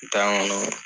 Tan ŋɔnɔ